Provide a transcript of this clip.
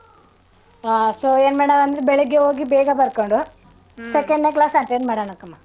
ಹಾ so ಏನ್ ಮಾಡವ ಅಂದ್ರೆ ಬೆಳಿಗ್ಗೆ ಹೋಗಿ ಬೇಗ ಬರ್ಕೊಂಡು. second ನೇ class attend ಮಾಡಣಕ್ಕಮ್ಮ.